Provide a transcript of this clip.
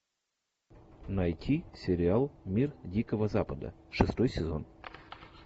найти сериал мир дикого запада шестой сезон